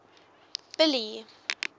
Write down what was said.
billy